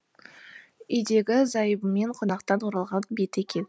үйдегі зайыбымен қонақтан оралған беті екен